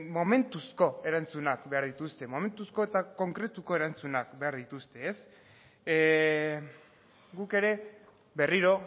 momentuzko erantzunak behar dituzte momentuzko eta konkretuko erantzunak behar dituzte guk ere berriro